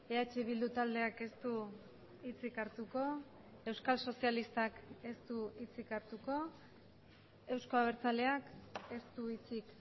eh bildu taldeak ez du hitzik hartuko euskal sozialistak ez du hitzik hartuko euzko abertzaleak ez du hitzik